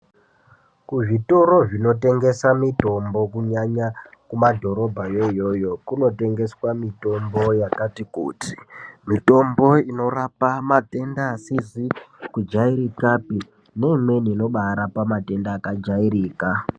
Kuzvitoro zvinotengesa mitombo kunyanya kumadhorobha yoyoyo, kunotengeswa mitombo yakati kuti. Mitombo inorapa matenda asizikujairikape nemweni inobara pamadenda akajairika.